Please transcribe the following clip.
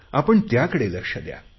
आपण त्याकडे लक्ष द्या